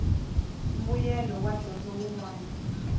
mbuyelo wa dyondzo wun wana